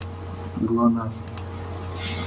глонассс